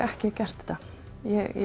ekki gert þetta ég